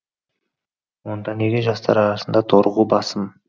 онда неге жастар арасында торығу басым